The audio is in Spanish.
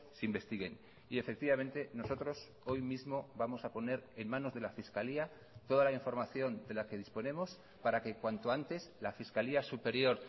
se investiguen y efectivamente nosotros hoy mismo vamos a poner en manos de la fiscalía toda la información de la que disponemos para que cuanto antes la fiscalía superior